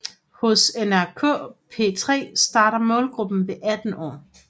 Hos NRK P3 starter målgruppen ved 18 år